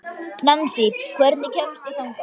Nansý, hvernig kemst ég þangað?